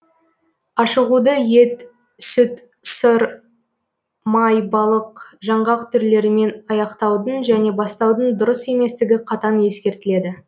ашығуды ет сүт сыр май балық жаңғақ түрлерімен аяқтаудың және бастаудың дұрыс еместігі қатаң ескертіледі